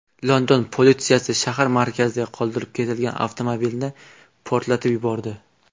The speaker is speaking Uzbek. London politsiyasi shahar markazida qoldirib ketilgan avtomobilni portlatib yubordi.